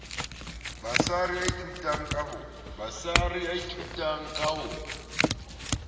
basari ya ithutang ka ho